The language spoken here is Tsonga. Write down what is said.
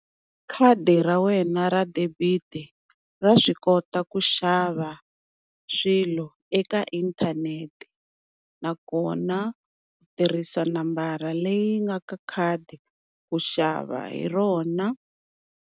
Khadi ra wena ra debit ra swi kota ku xava swilo eka inthanete nakona u tirhisa nambara leyi nga ka khadi ku xava hi rona.